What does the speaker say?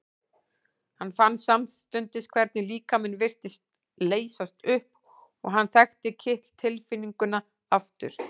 Hann fann samstundis hvernig líkaminn virtist leysast upp og hann þekkti kitl tilfinninguna aftur.